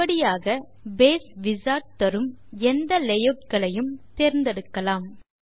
இப்படியாக base wizard தரும் எந்த layoutகளையும் தேர்ந்தெடுக்கலாம்